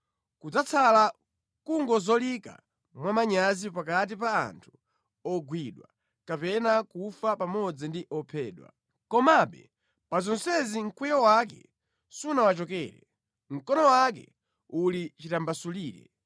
Kudzatsala nʼkungozolika mwamanyazi pakati pa anthu ogwidwa kapena kufa pamodzi ndi ophedwa. Komabe pa zonsezi mkwiyo wake sunawachokere, mkono wake uli chitambasulire.